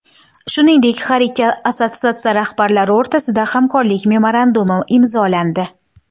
Shuningdek, har ikki assotsiatsiya rahbarlari o‘rtasida hamkorlik memorandumi imzolandi.